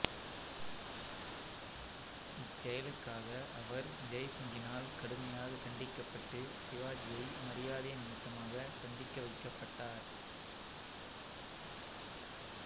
இச் செயலுக்காக அவர் ஜெய் சிங்கினால் கடுமையாகக் கண்டிக்கப்பட்டு சிவாஜியை மரியாதை நிமித்தமாக சந்திக்க வைக்கப்பட்டார்